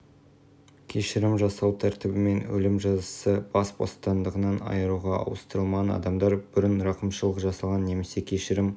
кешірім жасау тәртібімен өлім жазасы бас бостандығынан айыруға ауыстырылған адамдар бұрын рақымшылық жасалған немесе кешірім